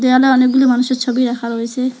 এখানে অনেকগুলি মানুষের ছবি রাখা রয়েসে।